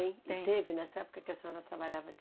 Tem... E teve nessa época que a senhora trabalhava